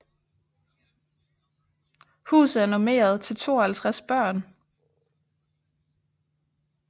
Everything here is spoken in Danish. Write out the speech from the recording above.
Huset er normeret til 52 børn